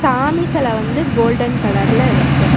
சாமி செல வந்து கோல்டன் கலர் ல இருக்கு.